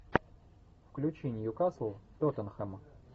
включи ньюкасл тоттенхэм